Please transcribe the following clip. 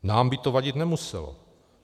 Nám by to vadit nemuselo.